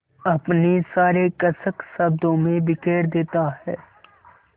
अपनी सारी कसक शब्दों में बिखेर देता है